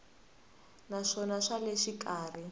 na swihoxo swa le xikarhi